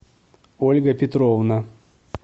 ольга петровна